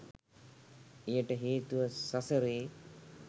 එයට හේතුව සසරේ